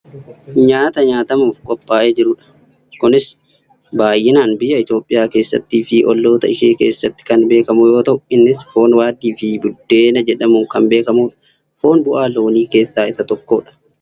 Nyaata nyaatamuuf qophaa'ee jirudha. Kunis baayyinaan biyya Itoophiyaa keessattii fi olloota ishee keessatti kan beekamu yoo ta'u innis foon waaddiifi buddeena jedhamuun kan beekamudha. Foon bu'aa loonii keessaa isa tokkodha.